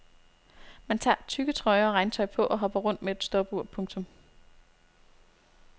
Man tager tykke trøjer og regntøj på og hopper rundt med et stopur. punktum